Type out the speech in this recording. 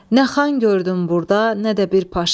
Nə xan gördüm burda, nə də bir paşa.